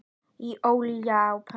Hitið olíu á pönnu.